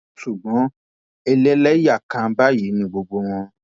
ṣùgbọn ẹlẹlẹyà kan báyìí ni gbogbo wọn